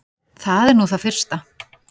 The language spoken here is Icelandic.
Það er nú það fyrsta.